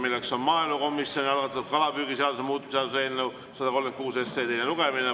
See on maaelukomisjoni algatatud kalapüügiseaduse muutmise seaduse eelnõu 136 teine lugemine.